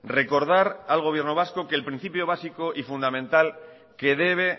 recordar al gobierno vasco que el principio básico y fundamental que debe